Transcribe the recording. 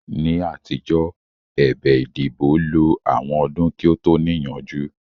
Ní àtijọ́, ẹ̀bẹ̀ ìdìbò lo àwọn ọdún kí ó tó níyanjú